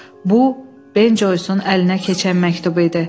Bu Benjoisin əlinə keçən məktubu idi.